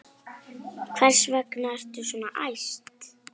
Hvers vegna ertu svona æst?